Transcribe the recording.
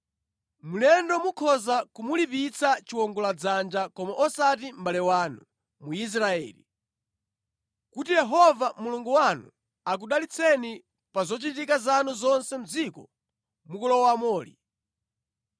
Mlendo mukhoza kumulipitsa chiwongoladzanja koma osati mʼbale wanu Mwisraeli, kuti Yehova Mulungu wanu akudalitseni pa zochitika zanu zonse mʼdziko mukulowamoli.